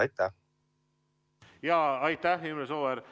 Aitäh, Imre Sooäär!